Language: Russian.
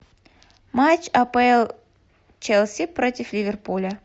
матч апл челси против ливерпуля